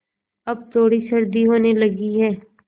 अब थोड़ी सर्दी होने लगी है